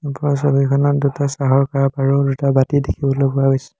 ওপৰৰ ছবিখনত দুটা চাহৰ কাপ আৰু দুটা বাতি দেখিবলৈ পোৱা গৈছে।